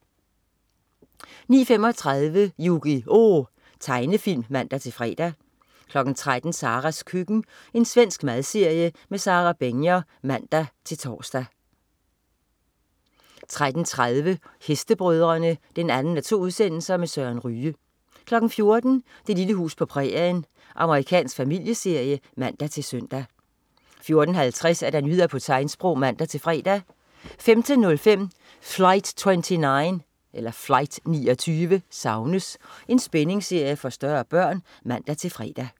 09.35 Yu-Gi-Oh! Tegnefilm (man-fre) 13.00 Saras køkken. Svensk madserie. Sara Begner (man-tors) 13.30 Hestebrødrene 2:2. Søren Ryge 14.00 Det lille hus på prærien. Amerikansk familieserie (man-søn) 14.50 Nyheder på tegnsprog (man-fre) 15.05 Flight 29 savnes! Spændingsserie for større børn (man-fre)